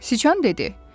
Siçan dedi.